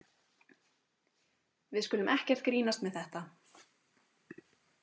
Við skulum ekkert grínast með þetta.